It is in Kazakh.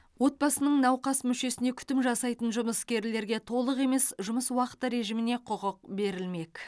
отбасының науқас мүшесіне күтім жасайтын жұмыскерлерге толық емес жұмыс уақыты режіміне құқық берілмек